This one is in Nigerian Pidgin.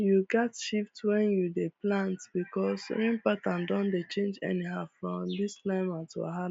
you gats shift when you dey plant because rain pattern don dey change anyhow from this climate wahala um